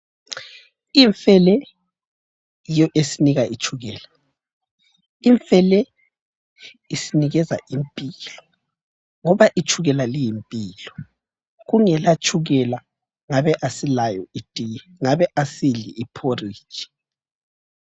Imfe le yiyo esinika itshukela. Imfe le isinikeza impilo ngoba itshukela liyimpilo. Kungela tshukela ngabe asilayo itiye, ngabe asidli iporridge.